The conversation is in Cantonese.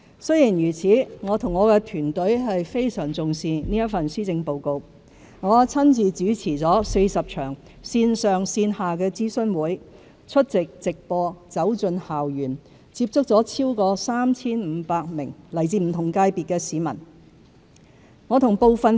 儘管如此，我和我的團隊非常重視這份施政報告；我親自主持了40場線上線下的諮詢會、出席直播、走進校園，接觸了超過 3,500 名來自不同界別的市民。